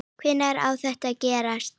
Hvenær á þetta að gerast?